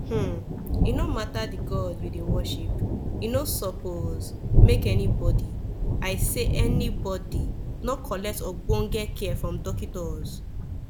hmn e nor mata dey god u dey worship e nor suppos make any bodi i say anibodi nor collect ogbonge care from dockitos